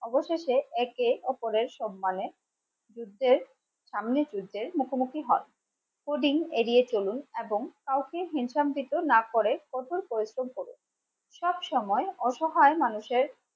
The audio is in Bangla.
অবশেষে একে অপরের সম্মানে যুদ্ধে সামনে যুদ্ধে মুখোমুখি হন. এড়িয়ে চলুন এবং কাউকে না করে প্রচুর পরিশ্রম করুন সব সময় অসহায় মানুষের